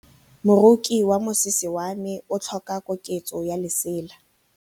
Moroki wa mosese wa me o tlhoka koketsô ya lesela.